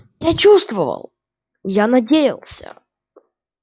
я чувствовал я надеялся